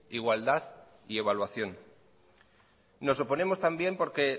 igualdad y evaluación nos oponemos también porque